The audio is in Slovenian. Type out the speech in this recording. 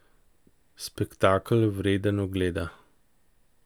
Spektakel, vreden ogleda!